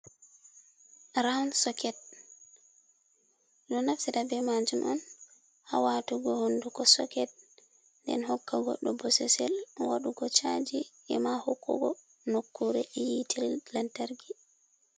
Rawn soket ɓe do naftira be maajum oun ha waatugo honduko soket nden hokka goddo bosesel wadugo chaji ema hokkugo nokkure e yite lantarki.